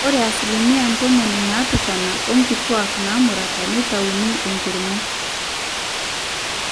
ore asilimia ntomoni naapishana oonkituak naamurata neitauni enkiring'o